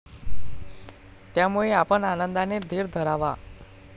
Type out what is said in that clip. त्यामुळे आपण आनंदाने धीर धरावा.